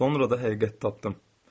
Sonra da həqiqəti tapdım.